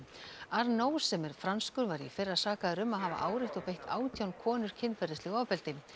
arnault sem er franskur var í fyrra sakaður um að hafa áreitt og beitt átján konur kynferðislegu ofbeldi